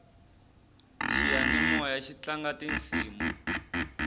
xiyanimoyaxi tlanga tisimu